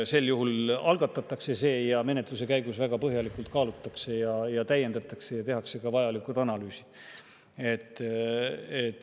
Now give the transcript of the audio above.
Sel juhul see algatatakse ning menetluse käigus väga põhjalikult kaalutakse, täiendatakse ja tehakse vajalikud analüüsid.